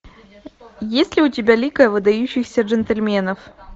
есть ли у тебя лига выдающихся джентльменов